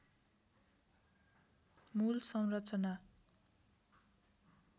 मूल संरचना